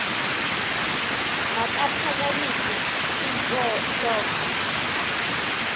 makaphakamise int loko